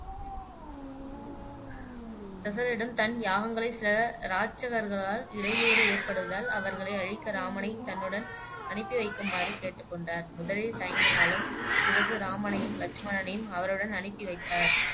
தசரரிடம் தன் யாகங்களை சில ராட்சகர்களால் இடையூறு ஏற்படுவதால் அவர்களை அழிக்க இராமனை தன்னுடன் அனுப்பி வைக்குமாறு கேட்டுக் கொண்டார் முதலில் தயங்கினாலும் பிறகு இராமனையும், லட்சுமணனனையும் அவருடன் அனுப்பி வைத்தார்